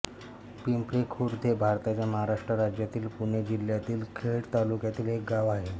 पिंपरीखुर्द हे भारताच्या महाराष्ट्र राज्यातील पुणे जिल्ह्यातील खेड तालुक्यातील एक गाव आहे